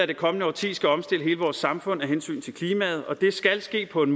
det kommende årti skal omstille hele vores samfund af hensyn til klimaet og det skal ske på en